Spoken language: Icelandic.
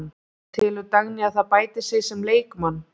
En telur Dagný að það bæti sig sem leikmann?